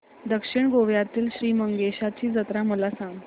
दक्षिण गोव्यातील श्री मंगेशाची जत्रा मला सांग